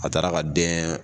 A taara ka dɛn